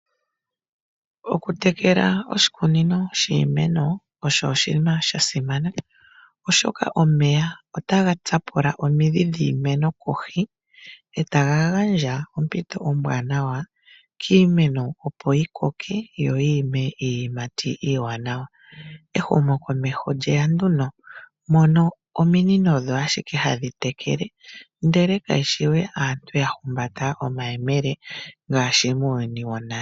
Okutekela oshikunino shiimeno osho oshinima sha simana, oshoka omeya otaga tsapula omidhi dhiimeno kohi , e ta ga gandja ompito ombwaanawa kiimeno opo yi koke yo yi ime iiyimati iiwaanawa. Ehumokomeho lye ya nduno mono ominino odho ashike hadhi tekele, ndele kaye shi we aantu ya humbata omayemele ngaashi muuyuni wonale.